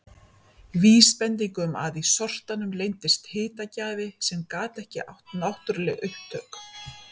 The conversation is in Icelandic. Vísbending um að í sortanum leyndist hitagjafi sem gat ekki átt náttúruleg upptök.